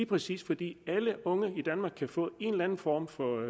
præcis fordi alle unge i danmark kan få en anden form for